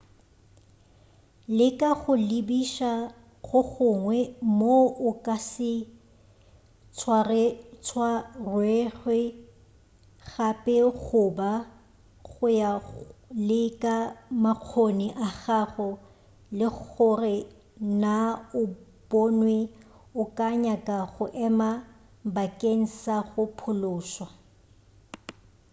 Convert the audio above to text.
leka go lebiša go gongwe moo o ka se tswarwego gape goba go ya le ka makgoni a gago le gore naa o bonwi o ka nyaka go ema bakeng sa go phološwa